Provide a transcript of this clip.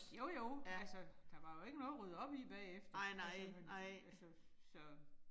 Jo jo, altså der var jo ikke noget at rydde op i bagefter, altså altså så